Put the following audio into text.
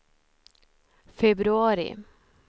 februari